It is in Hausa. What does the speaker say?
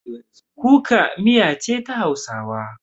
Kuka miya ne na hausawa.